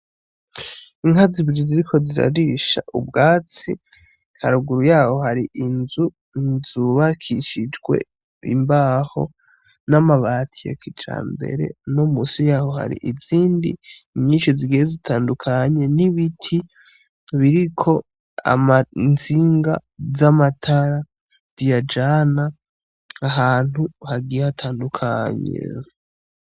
Inka zibiri ziriko zirarisha ubwatsi, haruguru yaho hari inzu zubakishijwe imbaho n'amabati ya kijambere, no munsi yaho hari izindi nyinshi zigiye zitandukanye, n'ibiti biriko itsinga z'amatara ziyajana ahantu hagiye hatandukanye.